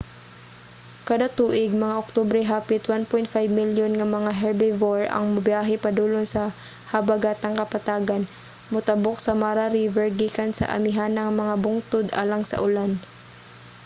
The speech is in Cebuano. kada tuig mga oktubre hapit 1.5 milyon nga mga herbivore ang mobiyahe padulong sa habagatang kapatagan motabok sa mara river gikan sa amihanang mga bungtod alang sa ulan